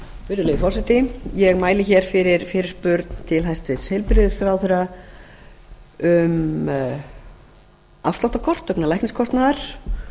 virðulegi forseti ég mæli hér fyrir fyrirspurn til hæstvirts heilbrigðisráðherra um afsláttarkort vegna lækniskostnaðar